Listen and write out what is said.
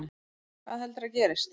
Hvað heldurðu að gerist?